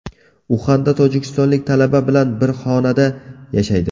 Uxanda tojikistonlik talaba bilan bir xonada yashaydi.